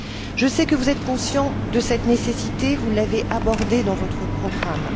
Je sais que vous êtes conscient de cette nécessité, vous l'avez abordée dans votre programme.